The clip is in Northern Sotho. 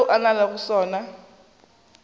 seo a nago le sona